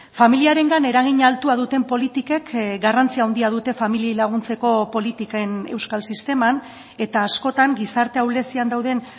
familiarengan eragin altua duten politikek garrantzi handia dute familiei laguntzeko politiken euskal sisteman eta askotan gizarte ahulezian dauden